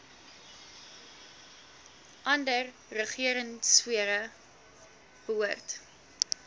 ander regeringsfere behoort